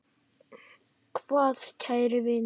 Takk kæri vinur.